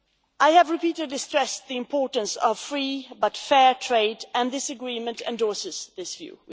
I have repeatedly stressed the importance of free but fair trade, and this agreement endorses that view.